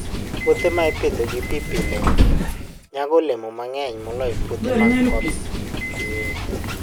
Puothe ma ipidho gi pi pile nyago olemo mang'eny moloyo puothe ma koth chue.